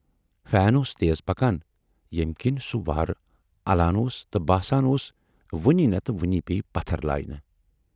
Fan اوس تیز پکان ییمہِ کِنۍ سُہ واراہ اَلان اوس تہٕ باسان اوس وُنۍ نَتہٕ وُنۍ پییہِ پتھر لایِنہٕ۔